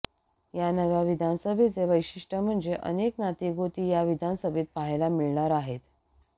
या नव्या विधानसभेचं वैशिष्ट्ये म्हणजे अनेक नाती गोती या विधानसभेत पाहायला मिळणार आहेत